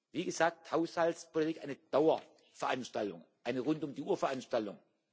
Wie gesagt, Haushaltspolitik ist eine Dauerveranstaltung, eine rund um die Uhr Veranstaltung.